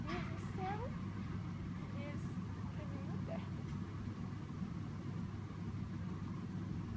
Deus no céu e eles para mim na terra.